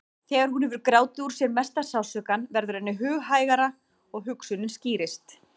Þegar hún hefur grátið úr sér mesta sársaukann verður henni hughægra og hugsunin skýrist.